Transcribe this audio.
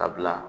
Ka bila